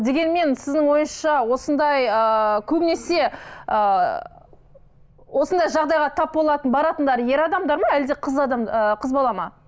дегенмен сіздің ойыңызша осындай ыыы көбінесе ыыы осындай жағдайға тап болатын баратындар ер адамдар ма әлде қыз ыыы қыз бала ма